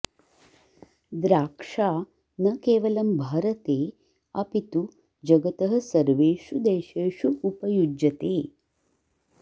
द्राक्षा न केवलं भारते अपि तु जगतः सर्वेषु देशेषु उपयुज्यते